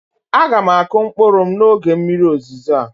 A ga m akụ mkpụrụ m n'oge mmiri ozizo a